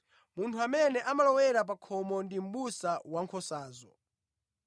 Munthu amene amalowera pa khomo ndi mʼbusa wankhosazo.